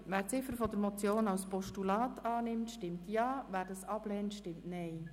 Wer die Ziffer 2 der Motion als Postulat annimmt, stimmt Ja, wer dies ablehnt, stimmt Nein.